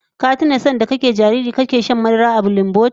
Ka tuna lokacin kana jariri sanda kake shan madara a bilinboti?